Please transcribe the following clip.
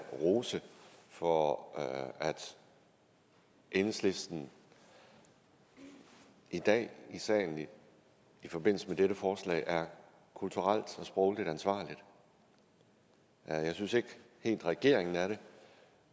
rose for at enhedslisten i dag i salen i forbindelse med dette forslag er kulturelt og sprogligt ansvarlig jeg synes ikke helt regeringen er det